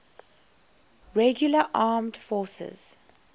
regular armed forces